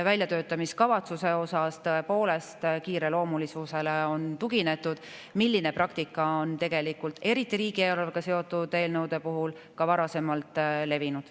Väljatöötamiskavatsuse puhul on tõepoolest kiireloomulisusele tuginetud ja see praktika on tegelikult eriti riigieelarvega seotud eelnõude korral ka varasemalt levinud.